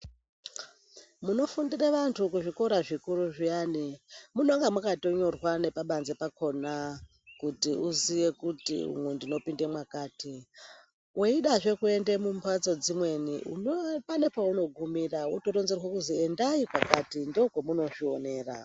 Munofundire vantu kuzvikora zvikuru zviyani munonga makatonyorwa nepabanze pakona kuti uziye kuti umwu ndinopinde mwakati. Weidzazve kuende mumbatso dzimweni pane pounogumira wototaurirwa kuti endai kwakati ndookomunozvionera.